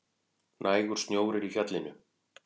Nægur snjór er í fjallinu